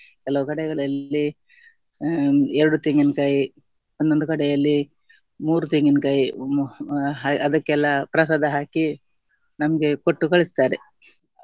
ಕೆಲವು ಕಡೆಗಳಲ್ಲಿ ಎರಡು ತೆಂಗಿನಕಾಯಿ ಒಂದೊಂದು ಕಡೆಯಲ್ಲಿ ಮೂರು ತೆಂಗಿನಕಾಯಿ ಅದಕ್ಕೆಲ್ಲ ಪ್ರಸಾದ ಹಾಕಿ ನಮ್ಗೆ ಕೊಟ್ಟು ಕಳಿಸ್ತಾರೆ.